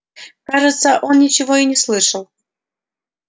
кажется он ничего и не слышал